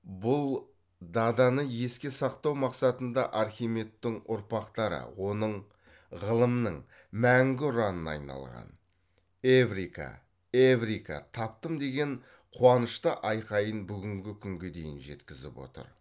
бұл даданы еске сақтау мақсатында архимедтің ұрпақтары оның ғылымның мәңгі ұранына айналған эврика эврика таптым деген қуашһнышты айқайын бүгінгі күнге дейін жеткізіп отыр